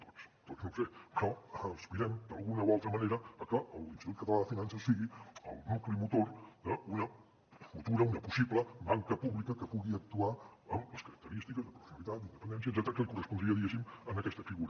tots no ho sé però aspirem d’alguna o altra manera a que l’institut català de finances sigui el nucli motor d’una futura una possible banca pública que pugui actuar amb les característiques de professionalitat d’independència etcètera que li correspondria diguéssim a aquesta figura